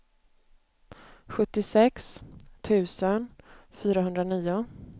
sjuttiosex tusen fyrahundranio